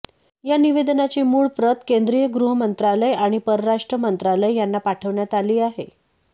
या निवेदनाची मूळ प्रत केंद्रीय गृहमंत्रालय आणि परराष्ट्र मंत्रालय यांना पाठवण्यात आली आहे